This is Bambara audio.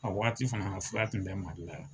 A waati fana fura tun bɛ Mali la yan